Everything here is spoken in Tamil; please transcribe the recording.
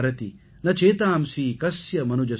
ந சேதாம்ஸி கஸ்ய மனுஜஸ்ய